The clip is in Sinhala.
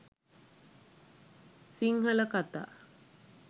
sinhala katha